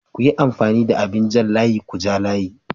Kuyi amfani da abin jan layi kuja layi.